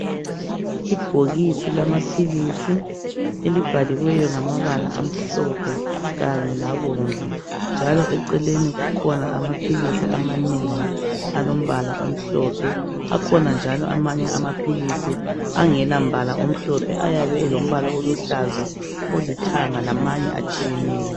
Ibhokisi lama philisi elibhaliweyo ngama bala amhlophe Kanye labomvu, njalo eceleni kukhona amaphilisi amanengi. Alombala omhlophe. Akhona njalo amanye amaphilisi angela mbala omhlophe ayabe elombala oluhlaza, olithanga lamanye atshiyeneyo.